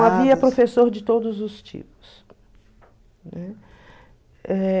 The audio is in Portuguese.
havia professor de todos os tipos, né? Eh...